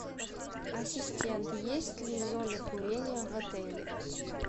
ассистент есть ли зоны курения в отеле